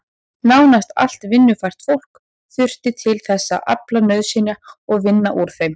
Nánast allt vinnufært fólk þurfti til þess að afla nauðsynja og vinna úr þeim.